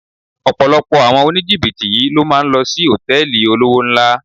Ọ̀pọ̀lọpọ̀ àwọn oníjìbìtì yí ló máa ń lò sí Hòtẹ́lìì olówó ńlá.